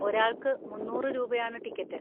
ഒരാൾക്ക് മുന്നൂറ് രൂപയാണ് ടിക്കറ്റ്.